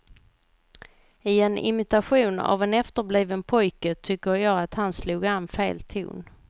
I en imitation av en efterbliven pojke tycker jag att han slog an fel ton.